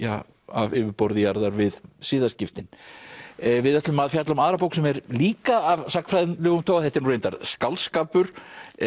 af yfirborði jarðar við siðaskiptin við ætlum að fjalla um aðra bók sem er líka af sagnfræðilegum toga þetta er nú reyndar skáldskapur